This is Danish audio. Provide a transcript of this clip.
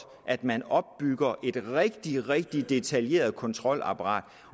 at man opbygger et rigtig rigtig detaljeret kontrolapparat